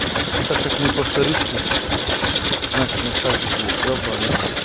так как мы повторюшки значит нас также будет ебанный рот